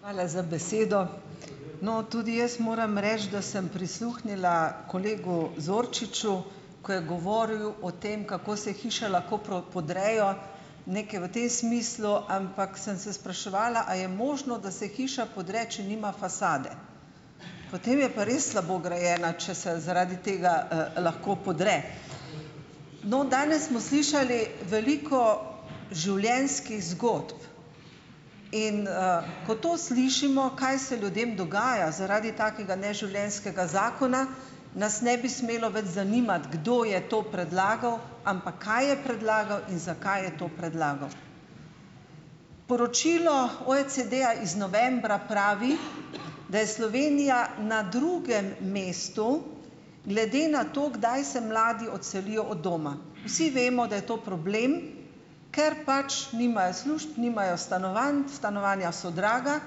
Hvala za besedo. No, tudi jaz moram reči, da sem prisluhnila kolegu Zorčiču, ko je govoril o tem, kako se hiše lahko podrejo, nekaj v tem smislu, ampak sem se spraševala, a je možno, da se hiša podre, če nima fasade? Potem je pa res slabo grajena, če se zaradi tega, lahko podre. No, danes smo slišali veliko življenjskih zgodb, in, ko to slišimo, kaj se ljudem dogaja zaradi takega neživljenjskega zakona, nas ne bi smelo več zanimati, kdo je to predlagal, ampak kaj je predlagal in zakaj je to predlagal. Poročilo OECD-ja iz novembra pravi, da je Slovenija na drugem mestu, glede na to, kdaj se mladi odselijo od doma. Vsi vemo, da je to problem, ker pač nimajo služb, nimajo stanovanj, stanovanja so draga,